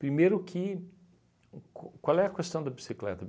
Primeiro que, qu qual é a questão da bicicleta?